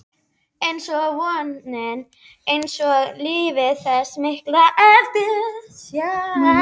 einsog vonin, einsog lífið- þessi mikla eftirsjá.